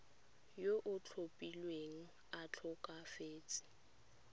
yo o tlhophilweng a tlhokafetse